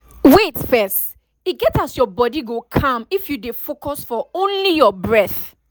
wait first e get as your body go calm if you dey focus for only your breath